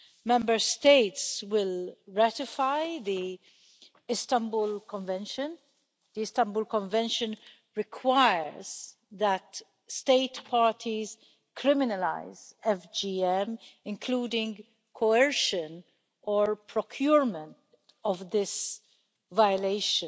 Member States will ratify the Istanbul Convention. The Istanbul Convention requires that the state parties criminalise FGM, including coercion or procurement of this violation.